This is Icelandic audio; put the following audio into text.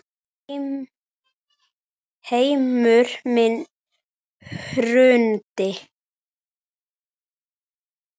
Heimur minn hrundi.